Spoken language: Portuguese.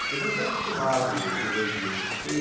Porque eu já tinha acostumado o os oito dias que eu fiquei.